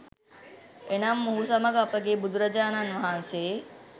එනම් මොහු සමඟ අපගේ බුදුරජාණන් වහන්සේ